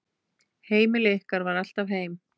Heimili ykkar var alltaf heim.